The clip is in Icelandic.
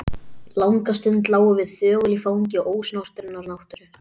Langa stund lágum við þögul í fangi ósnortinnar náttúru.